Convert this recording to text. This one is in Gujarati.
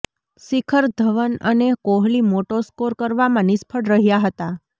શિખર ધવન અને કોહલી મોટો સ્કોર કરવામાં નિષ્ફળ રહ્યા હતા